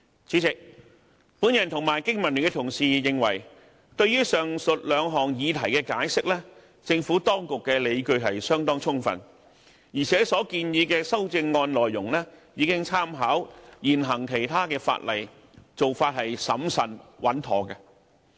主席，我和經民聯的同事認為對於上述兩項議題的解釋，政府當局的理據相當充分，而且所建議的修正案內容已參考其他現行法例，做法審慎穩妥。